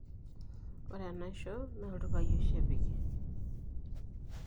Ore enaisho naa iltupai oshi epiki.